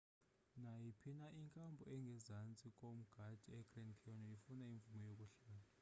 nayiphi na inkampu engezantsi komda egrand canyon ifuna imvume yokuhlala